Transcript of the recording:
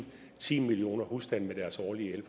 ti millioner husstande med deres årlige